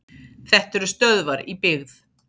Þetta eru stöðvar í byggð.